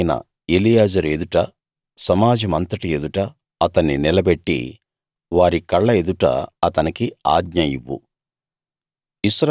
యాజకుడైన ఎలియాజరు ఎదుట సమాజమంతటి ఎదుట అతని నిలబెట్టి వారి కళ్ళ ఎదుట అతనికి ఆజ్ఞ ఇవ్వు